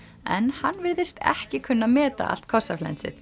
en hann virðist ekki kunna að meta allt